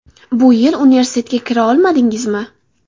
Bu yil universitetga kira olmadingizmi?